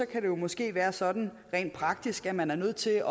kan det måske være sådan rent praktisk at man er nødt til